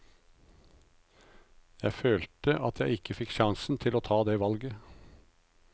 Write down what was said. Jeg følte at jeg ikke fikk sjansen til å ta det valget.